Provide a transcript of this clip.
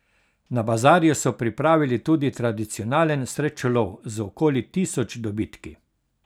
Na bazarju so pripravili tudi tradicionalen srečelov z okoli tisoč dobitki.